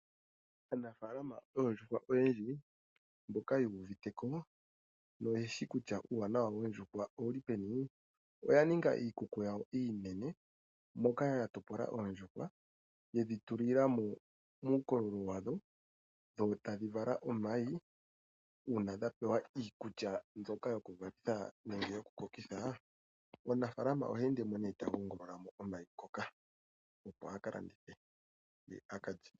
Aanafaalama yoondjuhwa oyendji mboka yuuviteko , oyeshi kutya uuwanawa woondjuhwa owuli peni. Oya ninga iikuku yawo iinene moka yatopola oondjuhwa yedhi tulila mo uukololo wadho dho etadhi vala omayi uuna dhapewa iikulya mbyoka yoku valitha nenge yokukokeka . Omunafaalama oha ende nee tagongolola mo omayi ngoka akalandithe ye aka lye.